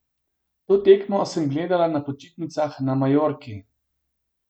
To tekmo sem gledala na počitnicah na Majorki.